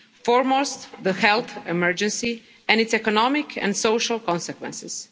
foremost the health emergency and its economic and social consequences.